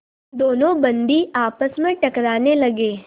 दोनों बंदी आपस में टकराने लगे